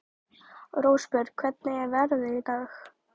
Rósbjörg, hvernig er veðrið í dag?